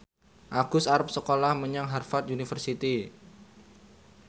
Agus arep sekolah menyang Harvard university